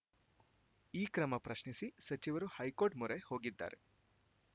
ಈ ಕ್ರಮ ಪ್ರಶ್ನಿಸಿ ಸಚಿವರು ಹೈಕೋರ್ಟ್‌ ಮೊರೆ ಹೋಗಿದ್ದಾರೆ